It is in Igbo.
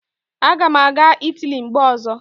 Aga m aga Italy mgbe ọzọ